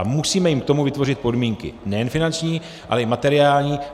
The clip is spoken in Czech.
Ale musíme jim k tomu vytvořit podmínky nejen finanční, ale i materiální.